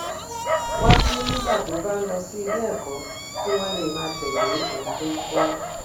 wáyé nígbà tó bá ń lọ sí iléèkó kí wón lè máa tèlé ohun tó ń kó